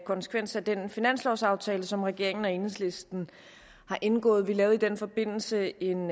konsekvens af den finanslovsaftale som regeringen og enhedslisten har indgået vi lavede i den forbindelse en